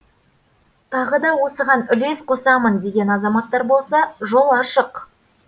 тағы да осыған үлес қосамын деген азаматтар болса жол ашық